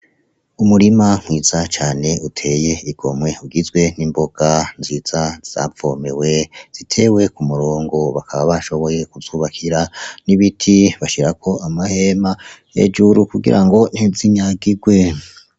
Umurima mwiza cane utiy'igomwe ugizwe: nk'imboga nziza zavomewe ,zitewe k'umugongo bakaba bashoboye kuzubakira n'ibiti bashirako amahema hejuru kugira ngo ntizinyagirwe.